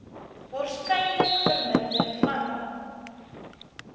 waarskynlik verminder vandat